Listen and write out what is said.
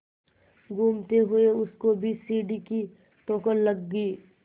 घूमते हुए उसको भी सीढ़ी की ठोकर लगी